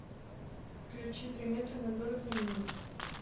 включи три метра над уровнем неба